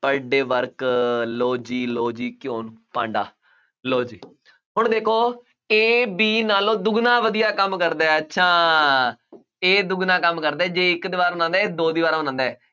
per day work ਲਉ ਜੀ, ਲਉ ਜੀ, ਘਿਉ ਨੂੰ ਭਾਂਡਾ, ਲਉ ਜੀ, ਹੁਣ ਦੇਖੋ A B ਨਾਲੋਂ ਦੁੱਗਣਾ ਵਧੀਆ ਕੰਮ ਕਰਦਾ ਹੈ ਅੱਛਾ A ਦੁੱਗਣਾ ਕੰਮ ਕਰਦਾ ਹੈ ਜੇ ਇੱਕ ਦੀਵਾਰ ਬਣਾਉਂਦਾ ਹੈ, A ਦੋ ਦੀਵਾਰਾਂ ਬਣਾਉਂਦਾ ਹੈ।